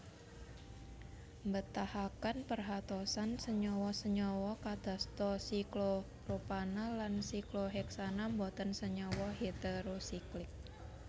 Mbetahaken perhatosan senyawa senyawa kadasta siklopropana lan sikloheksana boten senyawa heterosiklik